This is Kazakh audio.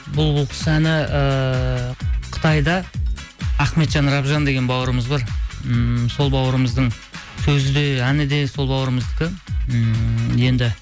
бұл бұл кұс әні ыыы қытайда ахметжан рабжан деген бауырымыз бар ммм сол бауырымыздың сөзі де әні де сол бауырымыздікі ммм енді